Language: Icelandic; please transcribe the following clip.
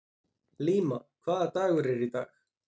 Líam, hvaða dagur er í dag?